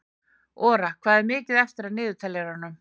Ora, hvað er mikið eftir af niðurteljaranum?